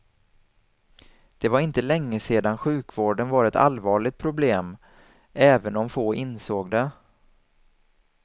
Det var inte länge sedan sjukvården var ett allvarligt problem, även om få insåg det.